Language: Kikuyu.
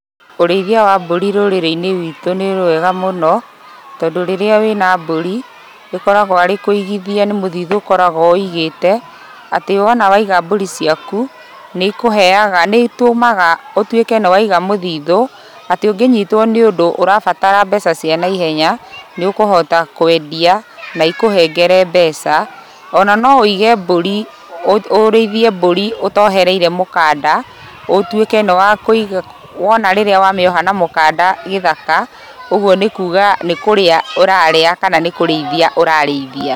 Ũrĩithia wa mbũri rũrĩrĩ-inĩ witũ nĩ rwega mũno, tondũ rĩrĩa wĩna mbũri ĩkoragwo arĩ kũigithia nĩ mũthĩthũ ũkoragwo wũigĩte, atĩ wona waiga mbũri ciaku nĩikũheaga nĩitũmaga ũtuĩke nĩ waiga mũthithũ, atĩ ũngĩnyitwo nĩ ũndũ ũrabatara mbeca cia na ihenya, nĩũkũhota kwendia na ĩkũhengere mbeca ona no wũige mbũri, ũrĩithie mbũri ũtohereire mũkanda ũtuĩke nĩwakũiga, wona rĩrĩa wamĩoha na mũkanda gĩthaka, ũguo nĩkuga nĩkũrĩa ũrarĩa kana nĩ kũrĩithia ũrarĩithia.